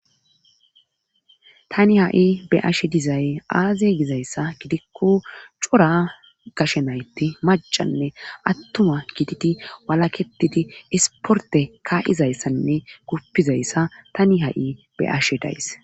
tani ha7i be7ashe dizay aaze gizayssa gidikko cora gashenaytti macanne attuma gididi walaketidi isporte kaa7izayssanne guppizayssa tani ha7i be7ashe days.